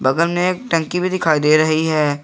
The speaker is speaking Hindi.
बगल में एक टंकी भी दिखाई दे रही है।